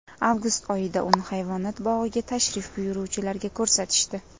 Avgust oyida uni hayvonot bog‘iga tashrif buyuruvchilarga ko‘rsatishdi.